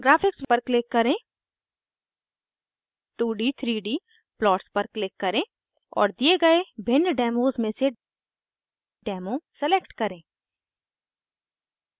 graphics पर click करें 2d_3d plots पर क्लिक करें और दिए गए भिन्न डेमोज़ में से डेमो demo सलेक्ट करें